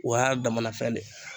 O y'a damana fɛn de ye.